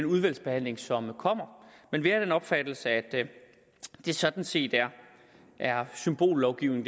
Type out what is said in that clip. udvalgsbehandling som kommer men vi er af den opfattelse at det sådan set er symbollovgivning